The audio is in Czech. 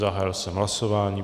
Zahájil jsem hlasování.